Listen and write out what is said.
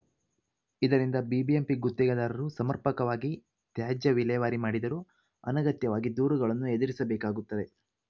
ಇದರಿಂದ ಬಿಬಿಎಂಪಿ ಗುತ್ತಿಗೆದಾರರು ಸಮರ್ಪಕವಾಗಿ ತ್ಯಾಜ್ಯ ವಿಲೇವಾರಿ ಮಾಡಿದರೂ ಅನಗತ್ಯವಾಗಿ ದೂರುಗಳನ್ನು ಎದುರಿಸಬೇಕಾಗುತ್ತದೆ